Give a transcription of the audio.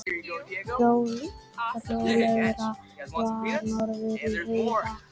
Rólegra var norðan heiða.